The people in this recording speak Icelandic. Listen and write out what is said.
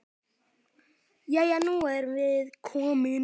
Jæja, nú erum við komin.